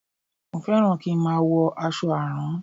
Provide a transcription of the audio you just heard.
Mo fẹ́ràn kí n má a wọ aṣọ àrán